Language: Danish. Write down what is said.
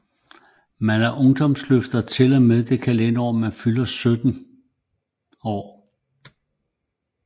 Man er ungdomsløfter til og med det kalenderår man fylder 17 år